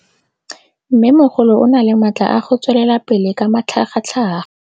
Mmêmogolo o na le matla a go tswelela pele ka matlhagatlhaga.